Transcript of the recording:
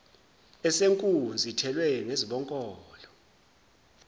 esenkunzi ithelwe ngezibonkolo